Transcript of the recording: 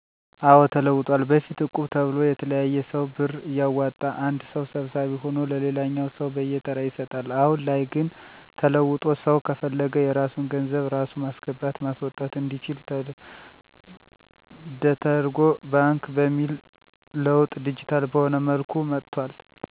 አዎ ተለውጠዋል በፊት እቁብ ተብሎ የተለያየ ሰው ብር እያዋጣ አንድ ሰው ሰብሳቢ ሁኖ ለሌላኛው ሰው በየተራ ይሰጣል። አሁን ላይ ግን ተለውጦ ሰው ከፈለገ የራሱን ገንዘብ ራሱ ማስገባት ማስወጣት አንዲችል ደተርጎ ባንክ በሚል ለውጥ ዲጂታል በሆነ መልኩ መጥቷል። እነዚህን ለውጦች ያነሳሳው ሰው በፈለገው ሰአት መቆጠብ ብሎም ባሻው ሰአት የቆጠበውን መጠቀም እንዲችል ለውጦች መጥተዋል።